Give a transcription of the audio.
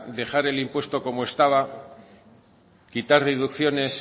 dejar el impuesto como estaba quitar deducciones